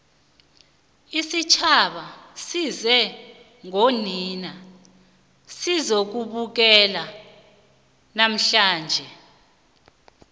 isitjhaba size ngonina sizokubukela namhlanje